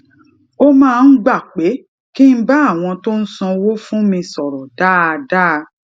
ó máa ń gba pé kí n bá àwọn tó ń sanwó fún mi sòrò dáadáa